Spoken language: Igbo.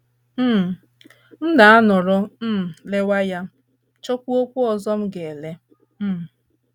um □ M na - anọrọ um lewe ya, chọkwuokwa ọzọ m ga - ele. um